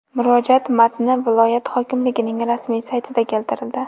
Murojaat matni viloyat hokimligining rasmiy saytida keltirildi .